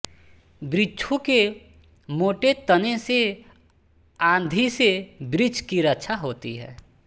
वृक्षों के मोटे तने से आँधी से वृक्ष की रक्षा होती है